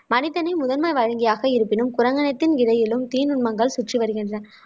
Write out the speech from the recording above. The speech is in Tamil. மனிதனை முதன்மை வழங்கியாக இருப்பினும் குரங்கணித்தின் விதையிலும் தீநுண்மங்கள் சுற்றி வருகின்றன